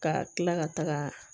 Ka kila ka taga